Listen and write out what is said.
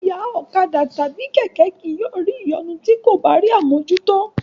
Ẹ̀yà ọ̀kadà tàbí kì yóò ní ìyọnu ti ko bá rí àmójútó.